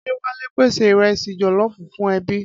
Adéwálé pèsè ìrẹsì jọ̀lọ́ọfù fún ẹbí.